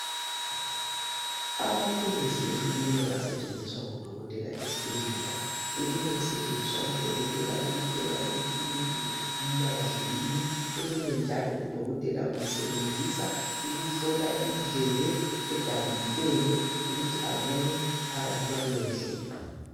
Amathuluzi ehlukeneyo asetshenziswa ngodokotela ezibhedlela elinye lisetshenziswa ngudokotela ukuhlola ukuthi umuntu uphefumula kahle yini elinye njalo udokotela usebenzisa ukuhlola indlebe edabukileyo ukuthi abone phakathi kwaleyo ndlebe.